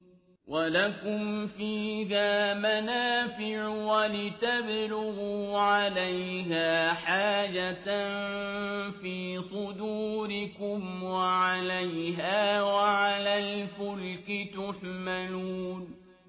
وَلَكُمْ فِيهَا مَنَافِعُ وَلِتَبْلُغُوا عَلَيْهَا حَاجَةً فِي صُدُورِكُمْ وَعَلَيْهَا وَعَلَى الْفُلْكِ تُحْمَلُونَ